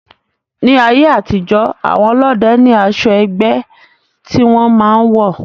Ní ayé àtijó, àwọn ọlọ́dẹ ní asọ ẹgbẹ́ tí wọn máa ń wọ̀